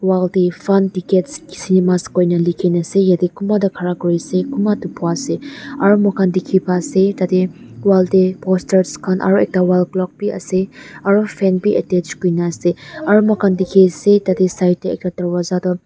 Wall tey fun tickets cinemas koina lekhi kena ase yate kunba toh khara kurina ase kunba toh bua ase aro moikhan dekhi pa ase tate wall tey poster khan aro ekta wall clock bi ase aro fan bi attached kurina ase aro moikhan dekhi ase tate side tey ekta darwaja toh--